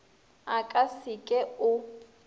a ka se ke o